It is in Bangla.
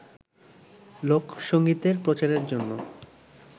লোকসংগীতের প্রচারের জন্য